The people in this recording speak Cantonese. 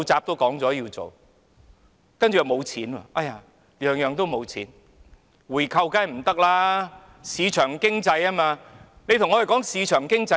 回購當然不可行，因為香港奉行市場經濟，但說甚麼市場經濟呢？